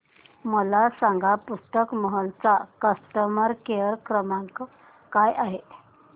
मला सांगा पुस्तक महल चा कस्टमर केअर क्रमांक काय आहे